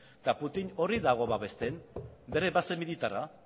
eta putin hori dago babesten bere base militarra